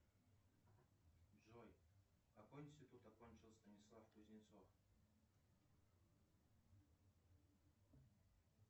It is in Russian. джой какой институт окончил станислав кузнецов